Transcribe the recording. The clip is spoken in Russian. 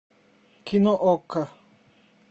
кино окко